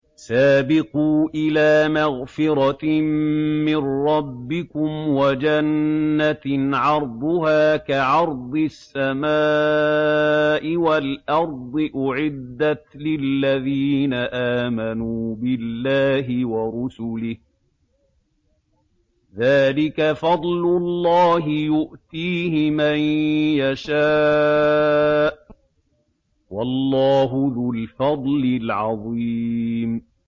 سَابِقُوا إِلَىٰ مَغْفِرَةٍ مِّن رَّبِّكُمْ وَجَنَّةٍ عَرْضُهَا كَعَرْضِ السَّمَاءِ وَالْأَرْضِ أُعِدَّتْ لِلَّذِينَ آمَنُوا بِاللَّهِ وَرُسُلِهِ ۚ ذَٰلِكَ فَضْلُ اللَّهِ يُؤْتِيهِ مَن يَشَاءُ ۚ وَاللَّهُ ذُو الْفَضْلِ الْعَظِيمِ